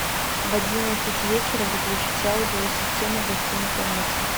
в одиннадцать вечера выключить аудио система в гостиной комнате